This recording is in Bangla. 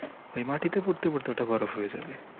সেই মাটিতে পড়তে পড়তে ওইটা বরফ হয়ে যাবে।